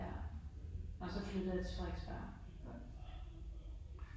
Ja og så flyttede jeg til Frederiksberg